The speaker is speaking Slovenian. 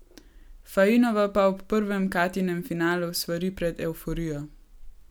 Fainova pa ob prvem Katjinem finalu svari pred evforijo.